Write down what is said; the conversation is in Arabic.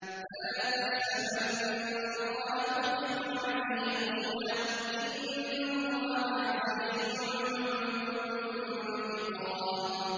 فَلَا تَحْسَبَنَّ اللَّهَ مُخْلِفَ وَعْدِهِ رُسُلَهُ ۗ إِنَّ اللَّهَ عَزِيزٌ ذُو انتِقَامٍ